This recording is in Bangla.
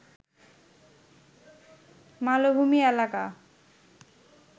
মালভূমি এলাকা